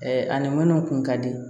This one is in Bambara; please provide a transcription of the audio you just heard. ani minnu kun ka di